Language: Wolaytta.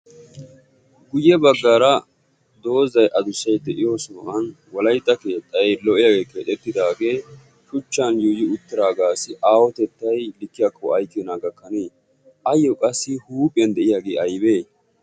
guyye baggaara doozai adussai de'iyo soohuwan walaiytta keettay lo''iyaagee keexettidaagee shuchchan yuuyi uttiraagaassi aahotettai likkiyaakko aykiyo naa gakkanee ayyo qassi huuphiyan de'iyaagee aybee